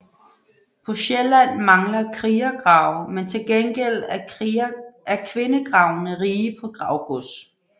På Sjælland mangler krigergrave men til gengæld er kvindegravene rige på gravgods